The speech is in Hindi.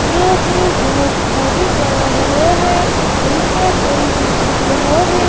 जो कि बहुत खाली पड़ा हुआ है और इसमें कोई नहीं दिख रहा है।